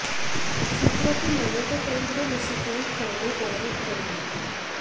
सूत्रों की मानें तो फिल्म को निशिकांत कामत डायरेक्ट करेंगे